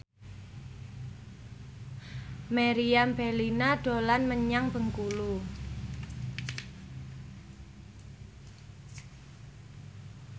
Meriam Bellina dolan menyang Bengkulu